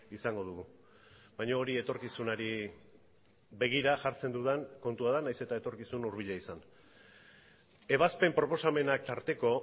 izango dugu baina hori etorkizunari begira jartzen dudan kontua da nahiz eta etorkizun hurbila izan ebazpen proposamenak tarteko